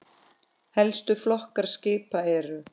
Helstu flokkar skipa eru